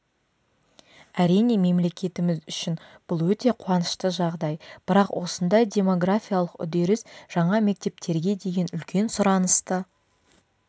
әрине мемлекетіміз үшін бұл өте қуанышты жағдай бірақ осындай демографиялық үдеріс жаңа мектептерге деген үлкен сұранысты